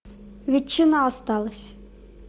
ветчина осталась